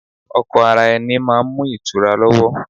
Ọkọ ara ẹni máa ń mú ìtura lọ́wọ́.